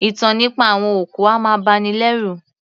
Ìtàn nípa àwọn òkú a máa bani lẹ́rù